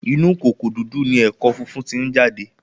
Inú kòkò dúdú ni ẹ̀kọ́ funfun tí ń jáde